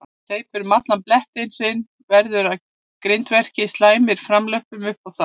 Hleypur um allan blettinn sinn, veður að grindverkinu, slæmir framlöppunum upp á það.